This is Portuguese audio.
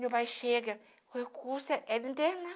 Meu pai chega, recurso, era interna.